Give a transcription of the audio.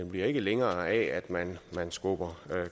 bliver ikke længere af at man skubber